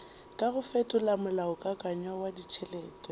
kago fetola molaokakanywa wa ditšhelete